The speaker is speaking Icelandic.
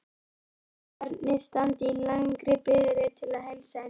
Ættingjarnir standa í langri biðröð til að heilsa henni.